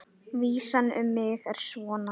Vísan um mig er svona: